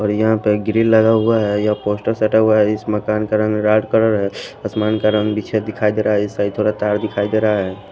और यहां पे ग्रिल लगा हुआ है यह पोस्टर सटा हुआ है इस मकान का रंग लाड कलर है आसमान का रंग बीछ दिखाई दे रहा है इस साइड थोड़ा तार दिखाई दे रहा है।